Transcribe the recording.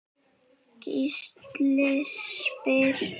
Gísli spyr